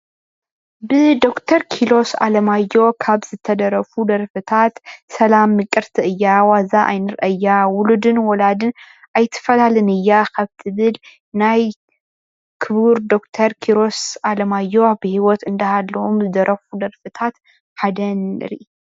ብ ዶክተር ኪሮስ ኣለማየሁ ካብ ዝተደረፉ ደርፍታት ሰላም ምቅርቲ እያ ዋዛ ኣይንርእያ ውሉድን ወላዲን ኣይተፈላለን እያ ካብ ትብል ናይ ክቡር ዶክተር ኪሮስ ኣለማዮ ኣብ ህይወት እንዳሃለወ ዝደረፎም ደርፍታት ሓደ እያ።